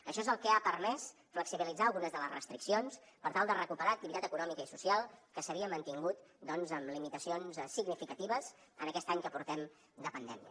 això és el que ha permès flexibilitzar algunes de les restriccions per tal de recuperar activitat econòmica i social que s’havia mantingut doncs amb limitacions significatives en aquest any que portem de pandèmia